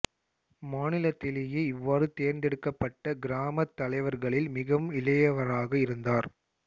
மாநிலத்திலேயே இவ்வாறு தேர்தெடுக்கப்பட்ட கிராமத் தலைவர்களில் மிகவும் இளையவராக இருந்தார்